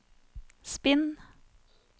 spinn